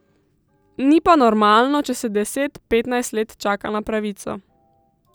Ni pa normalno, če se deset, petnajst let čaka na pravico.